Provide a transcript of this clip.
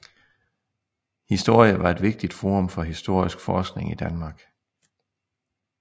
Historie var et vigtigt forum for historisk forskning i Danmark